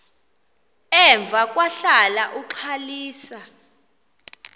emva kwahlala uxalisa